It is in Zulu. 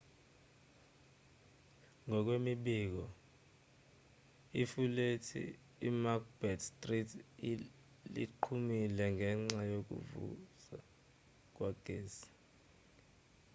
ngokwemibiko ifulethi emacbeth street liqhumile ngenxa yokuvuza kwegesi